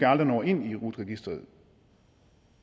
aldrig når ind i rut registeret